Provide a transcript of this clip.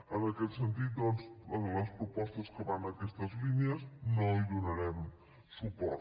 en aquest sentit doncs a les propostes que van en aquestes línies no hi donarem suport